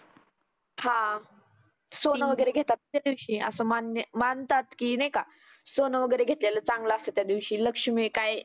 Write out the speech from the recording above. हा सोनं वगैरे घेतात त्या दिवशी अशी मान्य मानतात की नाही का सोनं वगैरे घेतलेलं चांगलं असतं त्या दिवशी लक्ष्मी काय